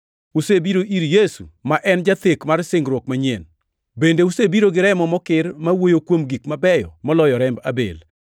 usebiro ir Yesu ma en jathek mar singruok manyien, bende usebiro gi remo mokir ma wuoyo kuom gik mabeyo moloyo remb Abel.